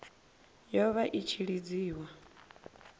yo vha i tshi lidziwa